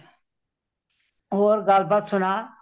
ਹੋਰ ਗੱਲ ਬਾਤ ਸੁਨਾ